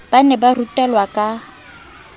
ba ne ba rutelwa ka